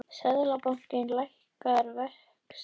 Seðlabankinn lækkar vexti